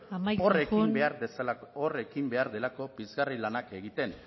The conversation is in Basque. amaitzen joan hor ekin behar delako pizgarri lanak egiten